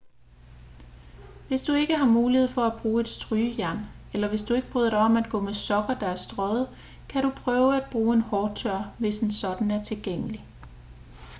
hvis du ikke har mulighed for at bruge et strygejern eller hvis du ikke bryder dig om at gå med sokker der er strøget kan du prøve at bruge en hårtørrer hvis en sådan er tilgængelig